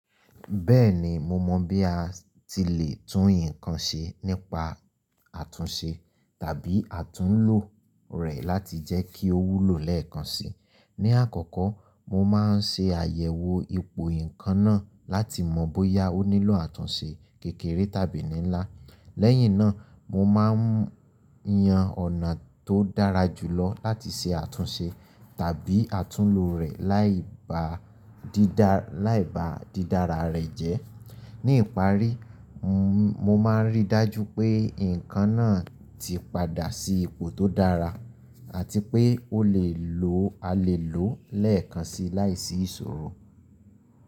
Bẹ́ẹ̀ni, mo mọ̀ bí a ti lè tún ǹkan ṣe nípa àtúnṣe tàbí àtúnlo rẹ̀ láti jẹ́ kí ó wúlò lẹ́ẹ̀kan si. Ní àkọ́kọ́, mo máa ń ṣe àyẹ̀wò ipò ǹkan náà láti mọ̀ bóyá ó nílò àtúnṣe kékeré tàbí ní ńlá. Lẹ́yìn náà, mo máa ń yan ọ̀nà tó dára jùlọ láti ṣe àtúnṣe tàbí àtúnlò rẹ̀ láì bá dídara rẹ̀ jẹ́. Ní ìparí, mo máa ń rí i dájú pé ǹkan náà ti padà sí ipò tó dára àti pé a lè lòó lẹ́ẹ̀kan si láìsí ìṣòro.